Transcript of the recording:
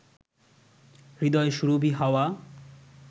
হৃদয়সুরভি হাওয়া